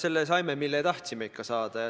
Sellist me tahtsimegi saada.